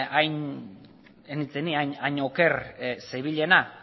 hain oker zebilena